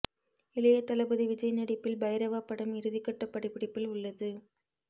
இளைய தளபதி விஜய் நடிப்பில் பைரவா படம் இறுதிக்கட்ட படப்பிடிப்பில் உள்ளது